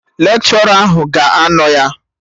Lekshọra ahụ ga-anọ ya